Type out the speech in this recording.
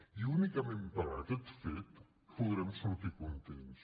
i únicament per aquest fet podrem sortir contents